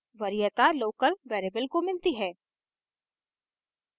वरीयता local variable को मिलती है